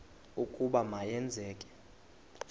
ukuba ma yenzeke